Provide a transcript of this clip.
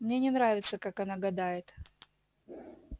мне не нравится как она гадает